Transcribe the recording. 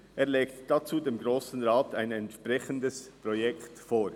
Er legt dazu dem Grossen Rat ein entsprechendes Projekt vor.